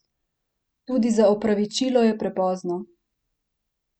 Tudi za opravičilo je prepozno!